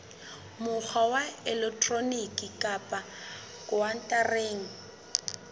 mokgwa wa elektroniki kapa khaontareng